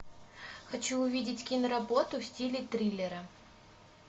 хочу увидеть киноработу в стиле триллера